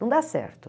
Não dá certo.